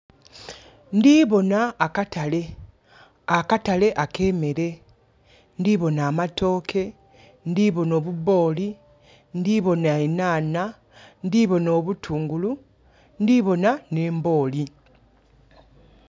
Ndhiboona akatale, akatale akemere. Ndhiboona amatooke, ndhiboona obuboli, ndhiboona enhanha, ndhiboona obutungulu, ndhiboona ne mbooli.